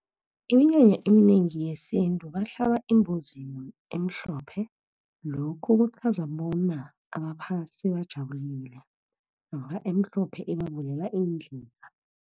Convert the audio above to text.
Iminyanya iminengi yesintu, bahlaba imbuzi emhlophe, lokhu kuchaza bona abaphasi bajabulile, namkha emhlophe ibavulela iindlela.